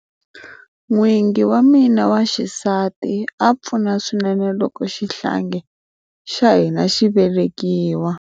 N'wingi wa mina wa xisati a pfuna swinene loko xihlangi xa hina xi velekiwa.